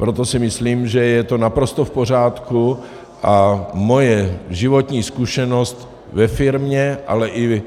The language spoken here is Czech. Proto si myslím, že je to naprosto v pořádku, a moje životní zkušenost ve firmě, ale i